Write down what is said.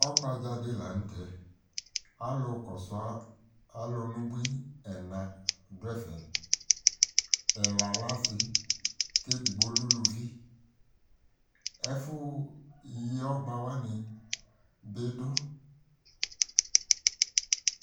Ɔhgbadza dɩ la nʋ tɛ, alʋ kɔsʋa alʋ n'ubui ɛna dʋ ɛfɛ: ɛla lɛ asɩ k'edigbo lɛ uluvi Ɛfʋ yi ɔgbawanɩ bɩ dʋ